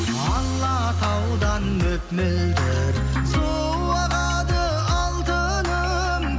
алатаудан мөп мөлдір су ағады алтыным